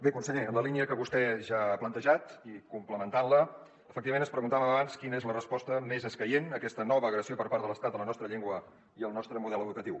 bé conseller en la línia que vostè ja ha plantejat i complementant la efectivament ens preguntàvem abans quina és la resposta més escaient a aquesta nova agressió per part de l’estat a la nostra llengua i al nostre model educatiu